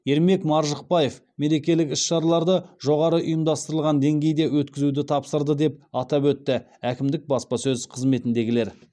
ермек маржықпаев мерекелік іс шараларды жоғарғы ұйымдастырылған деңгейде өткізуді тапсырды деп атап өтті әкімдік баспасөз қызметіндегілер